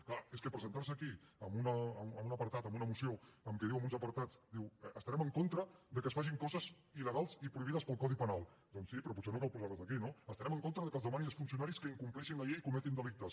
és clar és que presentar se aquí amb un apartat amb una moció en què diu en uns apartats estarem en contra de que es facin coses il·legals i prohibides pel codi penal doncs sí però potser no cal posar les aquí no estarem en contra de que es demani als funcionaris que incompleixin la llei i cometin delictes